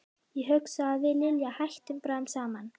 Ég hugsa að við Lilja hættum bráðum saman.